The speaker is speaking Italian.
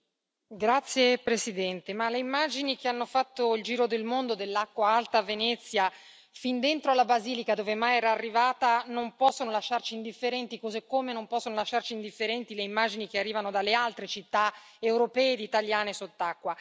Signora Presidente, onorevoli colleghi, le immagini che hanno fatto il giro del mondo dell'acqua alta a Venezia, fin dentro la Basilica dove mai era arrivata, non possono lasciarci indifferenti, così come non possono lasciarci indifferenti le immagini che arrivano dalle altre città europee e italiane sott'acqua.